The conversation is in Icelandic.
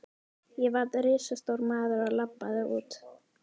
Ég varð risastór maður og labbaði út.